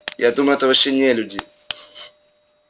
я думаю это вообще не люди